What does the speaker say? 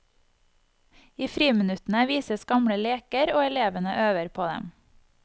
I friminuttene vises gamle leker, og elevene øver på dem.